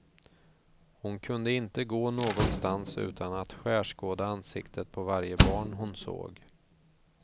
Hon kunde inte gå någonstans utan att skärskåda ansiktet på varje barn hon såg.